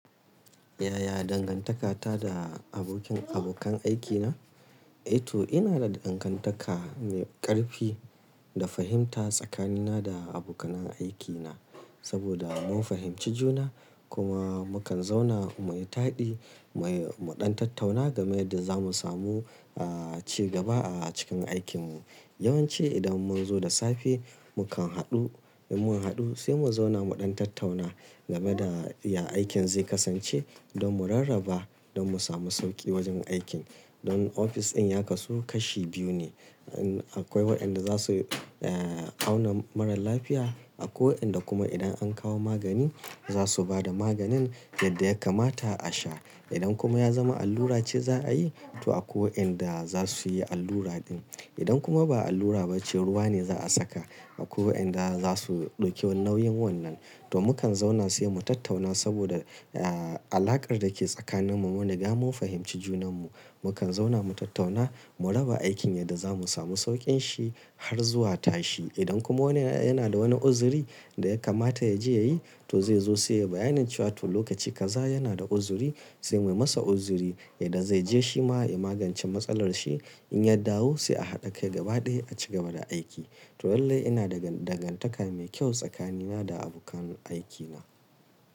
Yaya dangantaka ta da abokin abokan aikina? Eh to ina da dangantaka mai ƙarfi da fahimta tsakanina da abokanan aikina. Saboda mun fahimci juna kuma mukan zauna mu yi taɗi, mu yi muɗan tattauna game da zamu samu, ah, cigaba a cikin aikinmu. Yawanci idan mun zo da safe mukan haɗu, idan mun haɗu sai mu zauna muɗan tattauna game da ya aikin zai kasance don mu rarraba don mu samu sauƙi wajen aikin. Don ofis ɗin ya kasu kashi biyu ne. An-akwai waɗanda za su, eh, auna mara lafiya, akwai waɗanda kuma idan an kawo magani za su ba da maganin yadda ya kamata a sha. Idan kuma ya zama allura ce za a yi to akwai waɗanda za su yi allura din. Idan kuma ba allura ba ce ruwa ne za a saka akwai waɗanda za su ɗauki nauyin wannan. To mukan zauna sai mu tattauna saboda, ah, alaƙar da ke tsakaninmu munri ga mun fahimci junanmu. Mukan zauna mu tattauna mu raba aikin yadda zamu samu sauƙin shi har zuwa tashi. Idan kuma wani yana da wani uzuri da ya kamata ya je ya yi to zai zo sai ya bayanin cewa to lokaci gaza yana da uzuri sai muyi masa uzuri yadda zai je shi ma ya magance matsalar shi. In ya dawo sai a haɗa kai gaba ɗaya a cigaba da aiki. To lallai ina da dangantaka mai kyau tsakanina da abokan aikina.